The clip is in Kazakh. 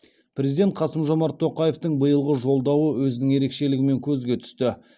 президент қасым жомарт тоқаевтың биылғы жолдауы өзінің ерекшелігімен көзге түсті